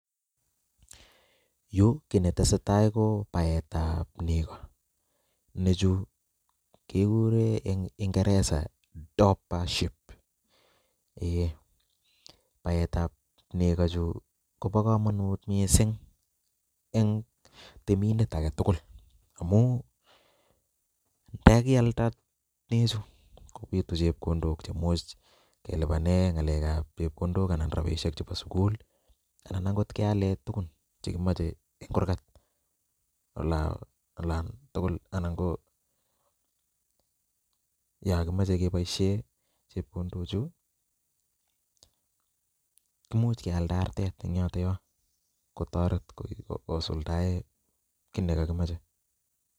Yuu kit netesetai ko baet ab neko, nechu kekuren en ingeresa dorper sheeps eeh baet ab neko chuu ko bo komonut missing en temindet aketukul amun ndakialda nechuk kopitu chepkondok che imuch kelipanen chepkondok anan rabishek chebo sukul lii anan okot kealen tukun chekimoche en kurgat olan tukul anan ko yon komoche keboishen chepkondok chuu kimuch kealda artet en yoton yon kotoret kosuldae kit nekokimoche.